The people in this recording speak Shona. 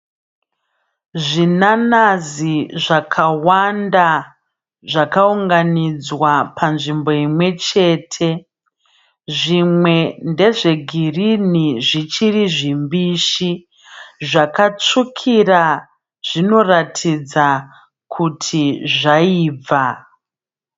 Zvinanazi zvakawanda zvakaunganidzwa panzvimbo imwechete. Zvimwe ndezvegirinhi zvichiri zvimbishi. Zvakatsvukira zvinoratidza kuti zvaibva.